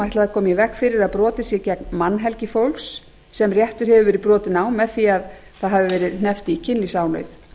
að koma í veg fyrir að brotið sé gegn mannhelgi fólks sem réttur hefur verið brotinn á með því að hafa verið hneppt í kynlífsánauð